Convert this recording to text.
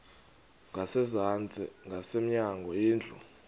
ngasezantsi ngasemnyango indlu